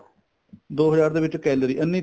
ਦੋ ਹਜਾਰ ਦੇ ਵਿੱਚ calorie ਇੰਨੀ